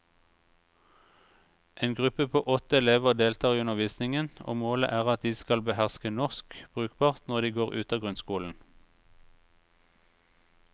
En gruppe på åtte elever deltar i undervisningen, og målet er at de skal beherske norsk brukbart når de går ut av grunnskolen.